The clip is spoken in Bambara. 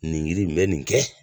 Nin yiri in bɛ nin kɛ